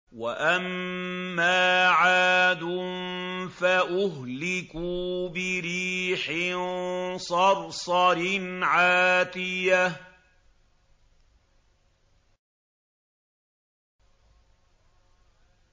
وَأَمَّا عَادٌ فَأُهْلِكُوا بِرِيحٍ صَرْصَرٍ عَاتِيَةٍ